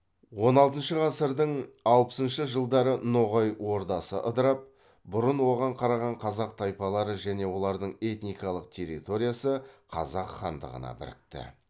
он алтыншы ғасырдың алпысыншы жылдары ноғай ордасы ыдырап бұрын оған қараған қазақ тайпалары және олардың этникалық территориясы қазақ хандығына бірікті